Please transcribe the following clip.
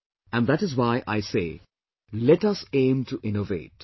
And that is why I say 'let us aim to innovate'